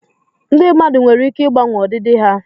ndị mmadụ nwere ike ịgbanwe ọdịdị ha